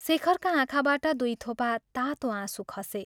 " शेखरका आँखाबाट दुइ थोपा तातो आँसु खसे।